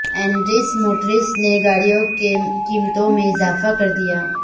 Indus Motors نے گاڑیوں کی قیمتوں میں اضافہ کر دیا